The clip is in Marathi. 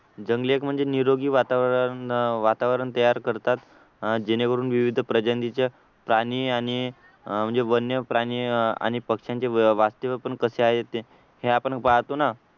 जंगले एक म्हणजे निरोगी वातावरण अह वातावरण तयार करतात अह जेणेकरून विविध प्रजातीच्या प्राणी आणि अह म्हणजे वन्यप्राणी आणि पक्षांचे वास्तव्य पण कसे आहे ते हे आपण पाहतो ना